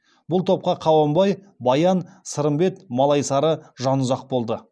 бұл топта қабанбай баян сырымбет малайсары жанұзақ болды